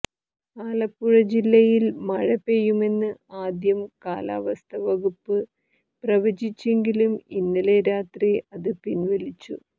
ആലപ്പുഴ ജില്ലയിൽ മഴ പെയ്യുമെന്ന് ആദ്യം കാലാവസ്ഥ വകുപ്പ് പ്രവചിച്ചെങ്കിലും ഇന്നലെ രാത്രി അത് പിൻവലിച്ചു